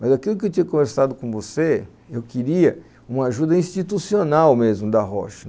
Mas aquilo que eu tinha conversado com você, eu queria uma ajuda institucional mesmo da Roche.